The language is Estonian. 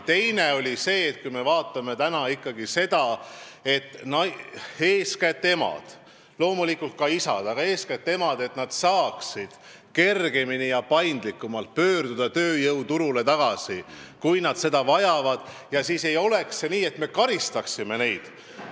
Teine oli see, et kui me peame silmas eesmärki, et loomulikult ka isad, aga eeskätt emad saaksid kergemini tööjõuturule tagasi pöörduda, kui nad seda tahavad, siis ei oleks nii, et me karistame neid selle eest.